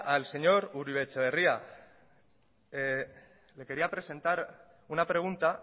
al señor uribe etxebarria le quería presentar una pregunta